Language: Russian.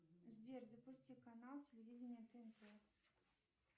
сбер запусти канал телевидение тнт